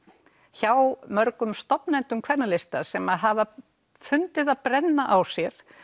hjá mörgum stofnmeðlimum kvennalista sem hafa fundið það brenna á sér